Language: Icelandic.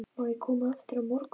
Má ég koma aftur á morgun?